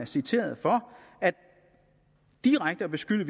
citeret for direkte at beskylde